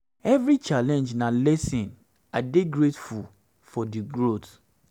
evri challenge na lesson lesson i dey grateful for di growth